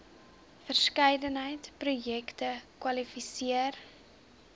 verskeidenheid projekte kwalifiseer